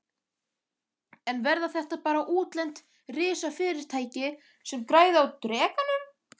En verða þetta bara útlend risafyrirtæki sem græða á Drekanum?